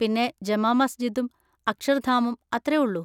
പിന്നെ ജമാ മസ്ജിദും അക്ഷർധാമും; അത്ര ഉള്ളൂ.